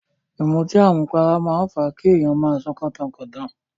Ìmutí àmupara máa ń fa kí èyàn máa sọ kọ́tankọ̀tan.